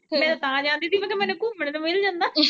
ਮੈਂ ਤਾਂ ਜਾਂਦੀ ਸੀ ਮੈਂ ਕਿਹਾ ਮਿਨੂੰ ਘੁੰਮਣੇ ਨੂੰ ਮਿਲ ਜਾਂਦਾ।